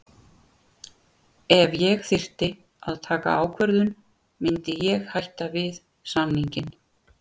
Ef ég þyrfti að taka ákvörðun myndi ég hætta við samninginn.